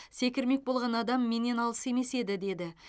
секірмек болған адам менен алыс емес еді деді